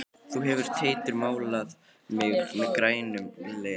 Þú hefur Teitur málað mig meður grænum legi.